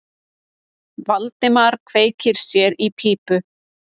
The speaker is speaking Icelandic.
Valdimar kveikti sér í pípu.